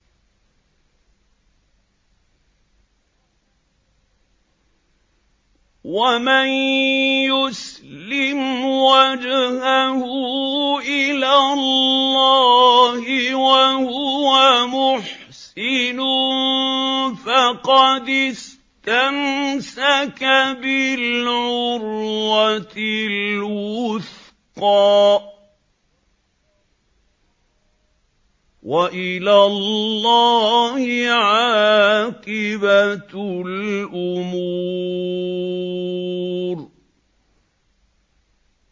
۞ وَمَن يُسْلِمْ وَجْهَهُ إِلَى اللَّهِ وَهُوَ مُحْسِنٌ فَقَدِ اسْتَمْسَكَ بِالْعُرْوَةِ الْوُثْقَىٰ ۗ وَإِلَى اللَّهِ عَاقِبَةُ الْأُمُورِ